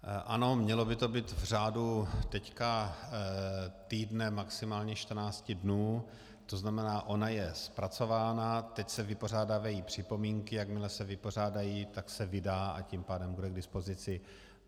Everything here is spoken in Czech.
Ano, mělo by to být v řádu teď týdne, maximálně 14 dnů, to znamená, ona je zpracována, teď se vypořádávají připomínky, jakmile se vypořádají, tak se vydá, a tím pádem bude k dispozici.